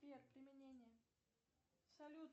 сбер применение салют